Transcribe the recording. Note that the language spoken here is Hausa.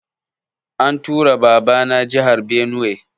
An tura Baba na jahar Benue